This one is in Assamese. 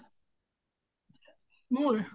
মোৰ ?